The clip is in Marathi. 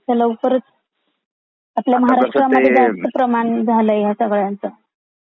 असा लवकरच आपल्या महाराष्ट्र मध्ये जास्त प्रमाण झालय ह्या सगळयांच.